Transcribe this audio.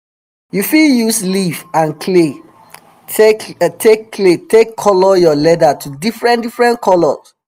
you fit use leaf and clay take clay take color your leather to diffren diffren color